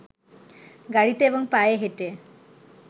গাড়ীতে এবং পায়ে হেঁটে